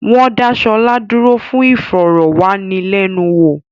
Wọ́n dá Ṣọlá dúró fún ìfọ̀rọ̀ wá ni lẹ́nu wò